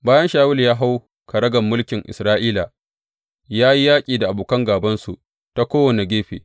Bayan Shawulu ya hau karagar mulkin Isra’ila, ya yi yaƙi da abokan gābansu ta kowane gefe.